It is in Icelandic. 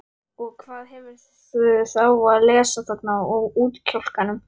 Og hvað hefurðu þá að lesa þarna á útkjálkanum?